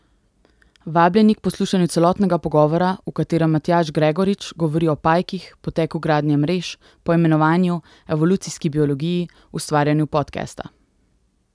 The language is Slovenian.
Vabljeni k poslušanju celotnega pogovora, v katerem Matjaž Gregorič govori o pajkih, poteku gradnje mrež, poimenovanju, evolucijski biologiji, ustvarjanju podkasta ...